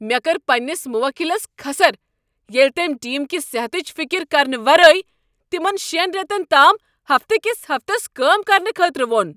مےٚ کٔر پننس موکلس کھسٕر ییٚلہ تٔمۍ ٹیم کہ صحتٕچ فکر کرنہٕ ورٲے تمن شین ریتن تام ہفتہٕ کس ہفتس کٲم کرنہٕ خٲطرٕ ووٚن۔